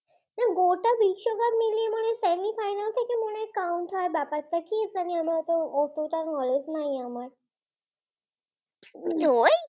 কিভাবে Count হওয়ার ব্যাপারটা অতটা knowledge নাই আমার